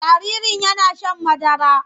Jaririn yana shan madara.